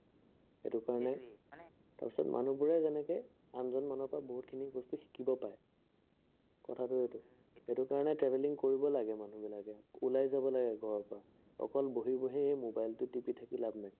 তাৰপিছত মানুহবোৰে যেনেকে আনজন মানুহৰ পৰা বহুতখিনি বস্তু শিকিব পাৰে। কথাটো সেইটো। সেইটো কাৰনে traveling কৰিব লাগে মানুহবিলাকে।, ওলাই যাব লাগে ঘৰৰ পৰা। অকল বহি বহি সেই mobile টো টিপি থাকি লাভ নাই।